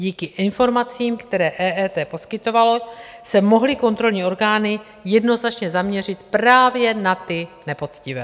Díky informacím, které EET poskytovalo, se mohly kontrolní orgány jednoznačně zaměřit právě na ty nepoctivé.